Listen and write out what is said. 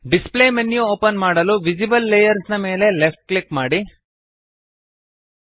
display menu open ಮಾಡಲು visible layers ನ ಮೇಲೆ ಲೆಫ್ಟ್ ಕ್ಲಿಕ್ ಮಾಡಿರಿ